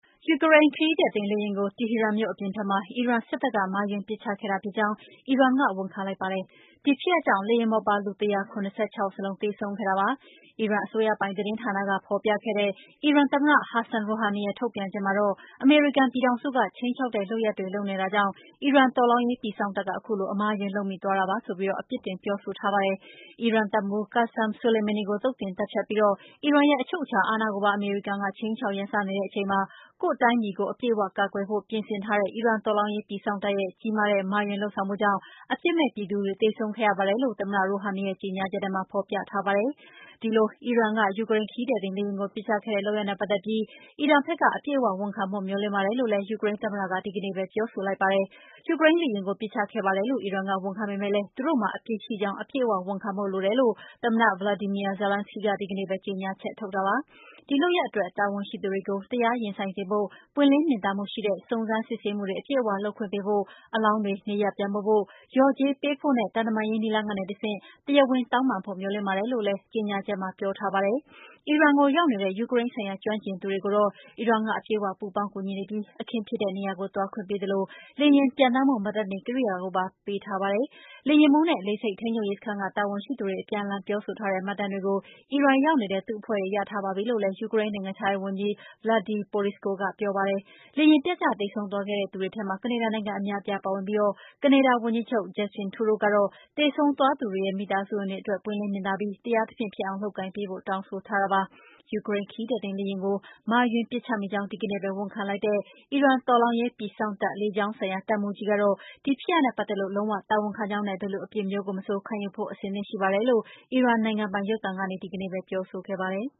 ယူကရိန်း ခရီးသည်တင်လေယာဉ်ကို တီဟီရန်မြို့ အပြင်ဘက်မှာ အီရန်စစ်တပ်က မှားယွင်းပစ်ချခဲ့တာဖြစ်ကြောင်း အီရန်က ဝန်ခံလိုက်ပါတယ်။ ဒီဖြစ်ရပ်ကြောင့် လေယာဉ်ပေါ်ပါ လူ ၁၇၆ ယောက်စလုံး သေဆုံးခဲ့တာပါ။ အီရန်အစိုးရပိုင် သတင်းဌာနက ဖော်ပြခဲ့တဲ့ အီရန်သမ္မတ ဟာဆန် ရိုဟာနီရဲ့ ထုတ်ပြန်ချက်မှာတော့ အမေရိကန်ပြည်ထောင်စုက ခြိမ်းခြောက်တဲ့လုပ်ရပ်တွေ လုပ်နေတာကြောင့် အီရန် တော်လှန်ရေးပြည်စောင့်တပ်က ခုလို အမှားအယွင်း လုပ်မိသွားတာပါဆိုပြီး ပြစ်တင်ပြောဆိုထားပါတယ်။ အီရန်တပ်မှူး Qassem Soleimani ကို သုတ်သင်သတ်ဖြတ်ပြီး အီရန်ရဲ့ အချုပ်အခြာအာဏာကိုပါ အမေရိကန်က ခြိမ်းခြောက်ရန်စနေတဲ့ အချိန်မှာ ကိုယ့်တိုင်းပြည်ကို အပြည့်အ၀ ကာကွယ်ဖို့ ပြင်ဆင်ထားတဲ့ အီရန်တော်လှန်ရေး ပြည်စောင့်တပ်ရဲ့ ကြီးမားတဲ့ မှားယွင်းလုပ်ဆောင်မှုကြောင့် အပြစ်မဲ့ပြည်သူတွေ သေဆုံးခဲ့ရပါတယ်လို့ သမ္မတ ရိုဟာနီရဲ့ ကြေညာချက်ထဲမှာ ဖော်ပြထားပါတယ်။ ဒီလို အီရန်က ယူကရိန်း ခရီးသည်တင်လေယာဉ်ကို ပစ်ချခဲ့တဲ့အတွက် လေယာဉ်ပေါ်ပါ လူ ၁၇၆ ယောက်စလုံး သေဆုံးခဲ့ရတဲ့ လုပ်ရပ်နဲ့ ပတ်သက်ပြီး အီရန်ဘက်က အပြည့်အ၀ ဝန်ခံဖို့ မျှော်လင့်ပါတယ်လို့ ယူကရိန်းသမ္မတက ဒီကနေ့ပဲ ပြောဆိုလိုက်ပါတယ်။ ယူကရိန်းလေယာဉ်ကို ပစ်ချခဲ့ပါတယ်လို့ အီရန်က ဝန်ခံပေမယ့် သူတို့မှာ အပြစ်ရှိကြောင်း အပြည့်အ၀ ဝန်ခံဖို့ လိုပါတယ်လို့ သမ္မတ Volodymyr Zelenskiy က ဒီကနေ့ ကြေညာချက် ထုတ်တာပါ။ ဒီလုပ်ရပ်အတွက် တာဝန်ရှိသူတွေကို တရားရင်ဆိုင်စေဖို့ ပွင်းလင်းမြင်သာမှုရှိတဲ့ စုံစမ်းစစ်ဆေးမှုတွေ အပြည့်အ၀ လုပ်ခွင့်ပေးဖို့၊ အလောင်းတွေ နေရပ်ပြန်ပို့ဖို့၊ လျော်ကြေးပေးဖို့နဲ့ သံတမန်ရေး နည်းလမ်းကတဆင့် တရားဝင်တောင်းပန်ဖို့ မျှော်လင့်ပါတယ်လို့လည်း ပြောပါတယ်။ အီရန်ကိုရောက်နေတဲ့ ယူကရိန်းဆိုင်ရာ ကျွမ်းကျင်သူတွေကိုတော့ အီရန်က အပြည့်အ၀ ပူးပေါင်းကူညီနေပြီး အခင်းဖြစ်တဲ့နေရာကို သွားခွင့်ရသလို လေယာဉ်ပျံသန်းမှု မှတ်တမ်းတင်ကိရိယာကိုပါ ရထားတာပါ။ လေယာဉ်မှူးနဲ့ လေဆိပ်ထိန်းချုပ်ရေးစခန်းက တာဝန်ရှိသူတွေ အပြန်အလှန် ပြောဆိုထားတဲ့ မှတ်တမ်းတွေကို အီရန်ရောက်နေတဲ့ သူ့အဖွဲ့တွေ ရထားပါပြီလို့လည်း ယူကရိန်းနိုင်ငံခြားရေးဝန်ကြီး Vadym Prystaiko က ပြောပါတယ်။ လေယာဉ်ပျက်ကျပြီး သေဆုံးခဲ့သူတွေထဲမှာ ကနေဒါနိုင်ငံသား အများအပြား ပါဝင်ပြီး ကနေဒါဝန်ကြီးချုပ် Justin Trudeau ကတော့ သေဆုံးသွားသူတွေရဲ့ မိသားစုဝင်တွေအတွက် ပွင့်လင်းမြင်သာပြီး တရားသဖြင့်ဖြစ်အောင် လုပ်ကိုင်ပေးဖို့ တောင်းဆိုထားတာပါ။ ယူကရိန်း ခရီးသည်တင်လေယာဉ်ကို မှားယွင်းပစ်ချမိကြောင်း ဒီကနေ့ပဲ ဝန်ခံလိုက်တဲ့ တော်လှန်ရေး ပြည်စောင့်တပ် လေကြောင်းဆိုင်ရာ တပ်မှူးကြီးကတော့ ဒီဖြစ်ရပ်နဲ့ပတ်သက်လို့ လုံး၀ တာဝန်ခံကြောင်းနဲ့ ဘယ်လိုအပြစ်မျိုးကိုမဆို ခံယူဖို့ အဆင်သင့်ရှိပါတယ်လို့ အီရန်နိုင်ငံပိုင် ရုပ်သံကနေ ပြောဆိုခဲ့ပါတယ်